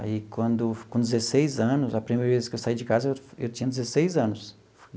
Aí, quando com dezesseis anos, a primeira vez que eu saí de casa, eu eu tinha dezesseis anos.